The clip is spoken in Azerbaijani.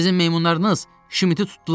Sizin meymunlarınız Şmiti tutdular.